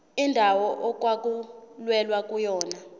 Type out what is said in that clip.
indawo okwakulwelwa kuyona